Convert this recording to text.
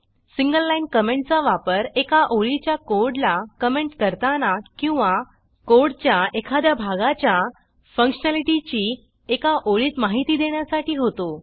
single line कॉमेंटचा वापर एका ओळीच्या कोडला कॉमेंट करताना किंवा कोडच्या एखाद्या भागाच्या फंक्शनॅलिटीची एका ओळीत माहिती देण्यासाठी होतो